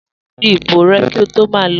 Di ìbò rẹ ki o to ma lo